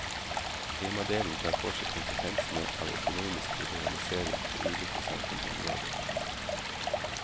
Temadelen tar for seg konsekvensene av økonomisk liberalisering på ulike samfunnsområder.